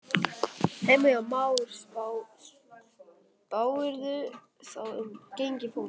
Heimir Már: Hverju spáirðu þá um gengi flokksins?